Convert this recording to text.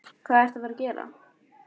Hvað ertu að fara að gera?